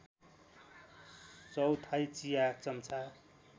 चौथाइ चिया चम्चा